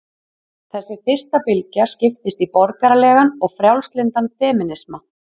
Þessi fyrsta bylgja skiptist í borgaralegan og frjálslyndan femínisma.